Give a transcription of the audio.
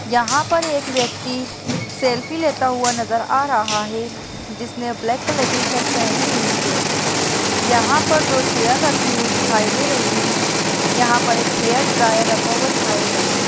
यहाँ पर एक व्यक्ति सेल्फी लेता हुआ नज़र आ रहा है जिसने ब्लैक कलर की शर्ट पहनी हुई है यहाँ पर दो चेयर रखी हुई दिखाई दे रही है यहाँ पर एक हेयर ड्रायर रखा हुआ दिखाई दे रहा है।